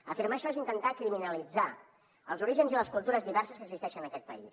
afirmar això és intentar criminalitzar els orígens i les cultures diverses que existeixen en aquest país